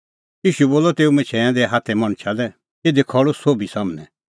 ईशू बोलअ तेऊ मछैंऐं दै हाथे मणछा लै इधी खल़्हू सोभी सम्हनै